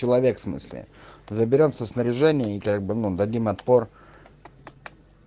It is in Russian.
человек в смысле заберём снаряжение и как бы мы дадим отпор